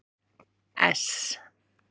S